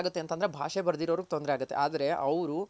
ಯಾರ್ಗೆ ತೊಂದ್ರೆ ಆಗುತ್ತೆ ಅಂದ್ರೆ ಭಾಷೆ ಬರ್ದಿರೋರ್ಗೆ ತೊಂದ್ರೆ ಆಗುತ್ತೆ ಆದ್ರೆ ಅವರು